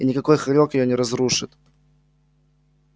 и никакой хорёк её не разрушит